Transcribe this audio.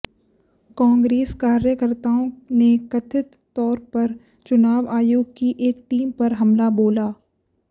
कांग्रेस कार्यकर्ताओं ने कथित तौर पर चुनाव आयोग की एक टीम पर हमला बोला